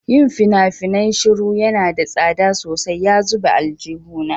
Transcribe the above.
Yin fina-finai shiru yana da tsada sosai ya zube aljihuna.